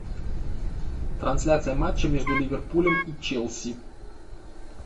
трансляция матча между ливерпулем и челси